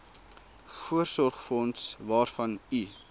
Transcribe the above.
voorsorgsfonds waarvan u